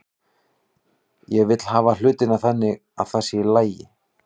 Ég vil hafa hlutina þannig að það sé agi.